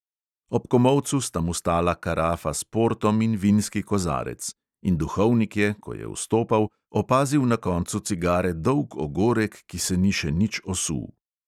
Ob komolcu sta mu stala karafa s portom in vinski kozarec; in duhovnik je, ko je vstopal, opazil na koncu cigare dolg ogorek, ki se ni še nič osul.